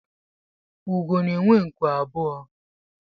Úgò na-enwe nku abụọ